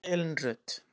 Kæra Elín Rut.